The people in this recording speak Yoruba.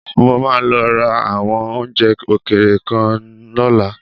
Mo máa lọ ra àwọn oúnjẹ òkèèrè kan lọ́la.